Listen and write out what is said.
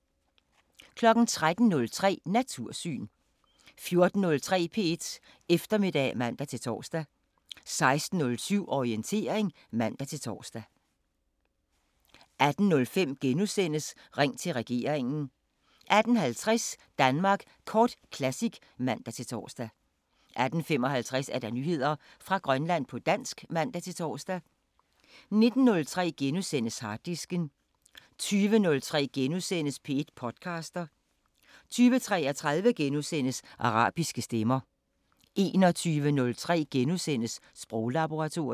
13:03: Natursyn 14:03: P1 Eftermiddag (man-tor) 16:07: Orientering (man-tor) 18:05: Ring til regeringen * 18:50: Danmark Kort Classic (man-tor) 18:55: Nyheder fra Grønland på dansk (man-tor) 19:03: Harddisken * 20:03: P1 podcaster * 20:33: Arabiske Stemmer * 21:03: Sproglaboratoriet *